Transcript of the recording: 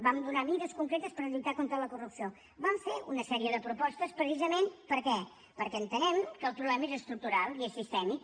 vam donar mesures concretes per lluitar contra la corrupció vam fer una sèrie de propostes precisament per què perquè entenem que el problema és estructural i és sistèmic